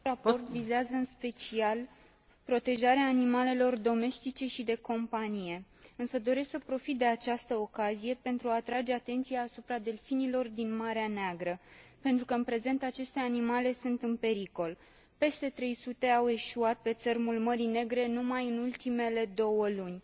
Acest raport vizează în special protejarea animalelor domestice și de companie, însă doresc să profit de această ocazie, pentru a atrage atenția asupra delfinilor din Marea Neagră, pentru că în prezent aceste animale sunt în pericol peste 300 au eșuat pe țărmul Mării Negre numai în ultimele două luni.